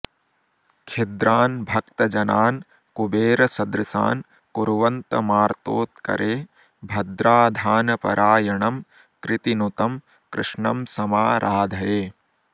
खिद्रान् भक्तजनान् कुबेरसदृशान् कुर्वन्तमार्तोत्करे भद्राधानपरायणं कृतिनुतं कृष्णं समाराधये